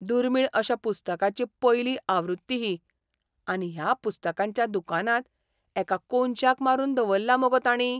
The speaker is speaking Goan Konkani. दुर्मीळ अश्या पुस्तकाची पयली आवृत्ती ही. आनी ह्या पुस्तकांच्या दुकानांत एका कोनशाक मारून दवल्ल्या मुगो तांणी!